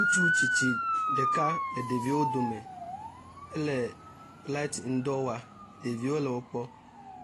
Ŋutsu tsitsi ɖeka le ɖeviwo dome ele lati ŋudɔ wɔm. Ɖeviwo le wokpɔm.